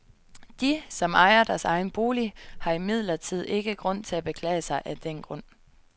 De, som ejer deres egen bolig, har imidlertid ikke grund til at beklage sig af den grund.